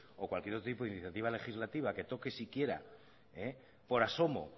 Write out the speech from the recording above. o cualquier otro tipo de iniciativa legislativa que toque siquiera por asomo